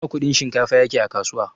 Nawa Kudin shinkafa yake a kasuwa?